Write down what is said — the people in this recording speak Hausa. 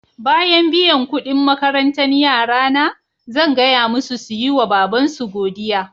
Bayan biyan kuɗin makarantan yara na, zan gaya musu su yi ma babansu godiya.